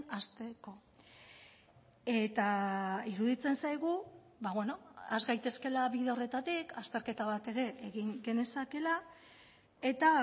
hasteko eta iruditzen zaigu has gaitezkeela bide horretatik azterketa bat ere egin genezakeela eta